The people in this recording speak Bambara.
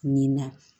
Nin na